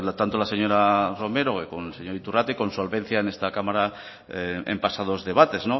tanto la señora romero como el señor iturrate y con solvencia en esta cámara en pasados debates